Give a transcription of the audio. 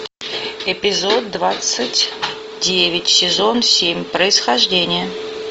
эпизод двадцать девять сезон семь происхождение